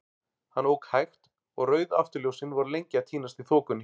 Hann ók hægt, og rauð afturljósin voru lengi að týnast í þokunni.